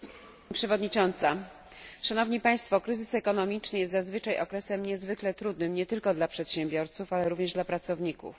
Pani Przewodnicząca! Kryzys ekonomiczny jest zazwyczaj okresem niezwykle trudnym nie tylko dla przedsiębiorców, ale również dla pracowników.